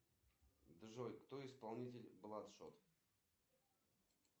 афина серию найди простоквашино последний